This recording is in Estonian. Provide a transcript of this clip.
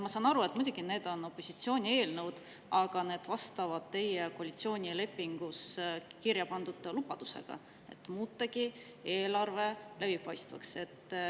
Ma saan muidugi aru, et need on opositsiooni eelnõud, aga need vastavad teie koalitsioonilepingus kirjapandud lubadusele muuta eelarve läbipaistvaks.